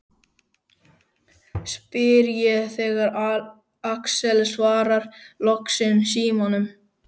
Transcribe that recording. spyr ég þegar Axel svarar loksins símanum.